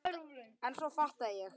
En svo fattaði ég.